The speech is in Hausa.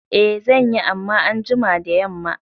I zanyi amma anjima da yamma